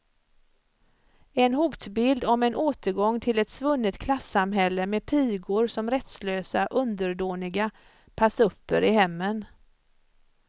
En hotbild om en återgång till ett svunnet klassamhälle med pigor som rättslösa underdåniga passupper i hemmen.